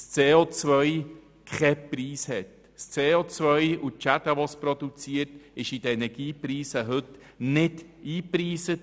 CO und die Schäden, die es produziert, sind heute in den Energiepreisen nicht eingerechnet.